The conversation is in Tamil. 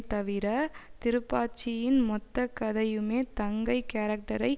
தவிர திருப்பாச்சியின் மொத்த கதையுமே தங்கை கேரக்டரை